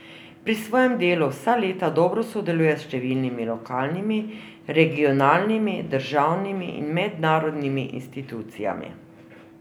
Pri svojem delu vsa leta dobro sodeluje s številnimi lokalnimi, regionalnimi, državnimi in mednarodnimi institucijami.